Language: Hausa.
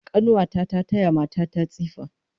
Kanuwa ta ta taya mata ta tsifa